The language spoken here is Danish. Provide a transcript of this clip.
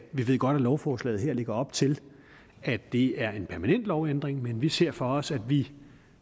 vi ved godt at lovforslaget her lægger op til at det er en permanent lovændring men vi ser for os at vi